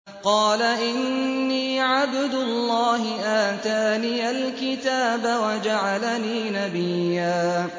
قَالَ إِنِّي عَبْدُ اللَّهِ آتَانِيَ الْكِتَابَ وَجَعَلَنِي نَبِيًّا